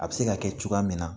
A bɛ se ka kɛ cogoya min na